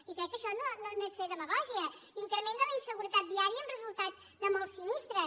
i crec que això no és fer demagògia increment de la inseguretat viària amb resultat de molts sinistres